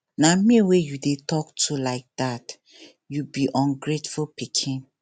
na me wey you dey talk to like dat you be ungrateful pikin